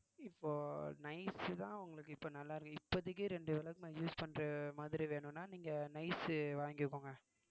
இப்போ nice தான் உங்களுக்கு இப்போ நல்லா இருக்கு இப்போதைக்கு ரெண்டு விளக்குமாறு use பண்ற மாதிரி வேணும்னா நீங்க nice உ வாங்கிக்கோங்க